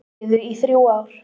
Biðu í þrjú ár